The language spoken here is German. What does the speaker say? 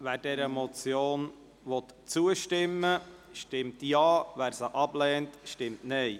Wer dieser Motion zustimmen will, stimmt Ja, wer diese ablehnt, stimmt Nein.